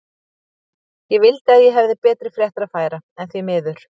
Ég vildi að ég hefði betri fréttir að færa, en því miður.